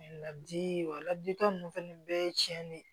Wa ladilikan ninnu fɛnɛ bɛɛ ye tiɲɛ de ye